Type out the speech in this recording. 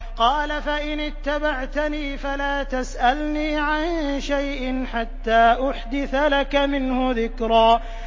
قَالَ فَإِنِ اتَّبَعْتَنِي فَلَا تَسْأَلْنِي عَن شَيْءٍ حَتَّىٰ أُحْدِثَ لَكَ مِنْهُ ذِكْرًا